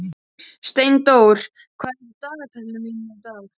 Steindór, hvað er í dagatalinu í dag?